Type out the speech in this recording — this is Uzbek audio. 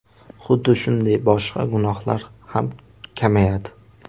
Xuddi shunday boshqa gunohlar ham kamayadi.